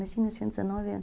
dezenove anos.